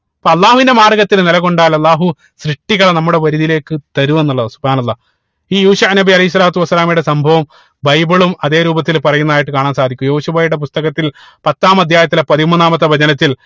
അപ്പൊ അള്ളാഹുവിന്റെ മാർഗത്തിൽ നില കൊണ്ടാൽ അള്ളാഹു സൃഷ്ടികളെ നമ്മുടെ വരിതിയിലേക്ക് തരും എന്നുള്ളതാണ് സുബ്ഹാനള്ളാഹ് ഈ യൂഷ നബി അലൈഹി സ്വലാത്തു വസ്സലാമയുടെ സംഭവം ബൈബിളും അതേ രൂപത്തിൽ പറയുന്നതായിട്ട് കാണാൻ സാധിക്കും യൂശുവയുടെ പുസ്തകത്തിൽ പത്താം അധ്യായത്തിൽ പതിമൂന്നാമത്തെ വചനത്തിൽ